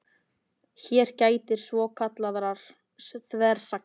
Hér gætir svokallaðrar þversagnar.